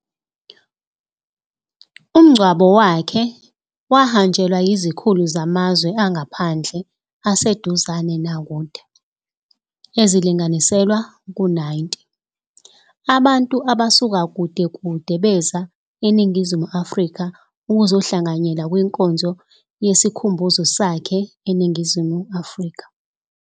Umngcwabo wakhe, wahanjelwa yizikhulu zamazwe angaphandle aseduzane nakude, ezilinganiselwa ku 90, abantu abasuka kude-kude beza eNingizimu Afrika ukuzohlanganyela kwizinkonzo zesikhumbuzo sakhe eNingizimu Afrika.